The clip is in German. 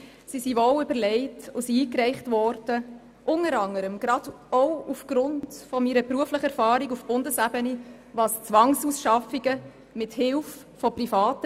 Sie sind wohl überlegt und wurden unter anderem eingereicht auch gerade aufgrund meiner beruflichen Erfahrung auf Bundesebene bezüglich Zwangsausschaffungen mit Hilfe Privater.